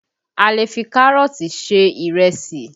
A lè fi Kárọ̀tì ṣe ìrẹsì